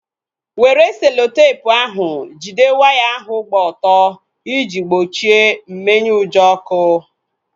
Were seloteepu ahu jide waya ahu gbaa ọtọ iji gbochie mmenyeujọ ọkụ